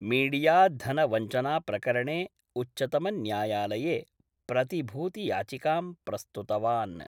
मीडियाधनवञ्चनाप्रकरणे उच्चतमन्यायालये प्रतिभूतियाचिकां प्रस्तुतवान्।